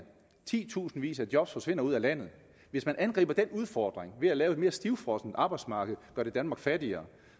titusindvis af job forsvinder ud af landet hvis man angriber den udfordring ved at lave et mere stivfrossent arbejdsmarked gør det danmark fattigere